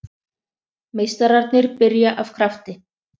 Meistararnir byrja af krafti